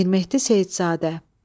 Mirmehdi Seyidzadə.